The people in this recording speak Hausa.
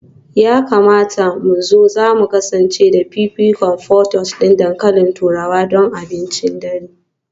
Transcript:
Ya kamata ku zo, za mu kasance da fifikonku; portage dankalin turawa don abincin dare